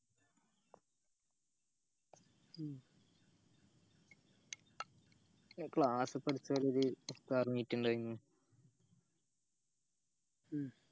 ഉം പിന്നെ class iftar meet ഇണ്ടായ്ന് ഉം